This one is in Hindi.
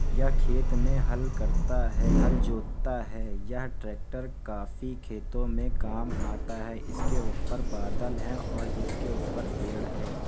ये खेत में हल करता है। हल जोतता है। यह ट्रैक्टर काफी खेतो में काम आता है। इसके ऊपर बादल हैं और इसके ऊपर पेड़ हैं।